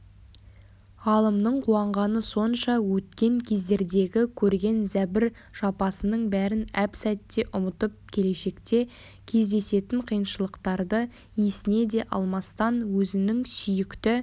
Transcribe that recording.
ғалымның қуанғаны сонша өткен кездердегі көрген зәбір-жапасының бәрін әп-сәтте ұмытып келешекте кездесетін қиыншылықтарды есіне де алмастан өзінің сүйікті